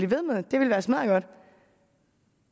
ved med og at det ville være smaddergodt